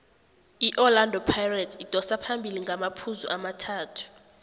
iorlando pirates idosa phambili ngamaphuzu amathathu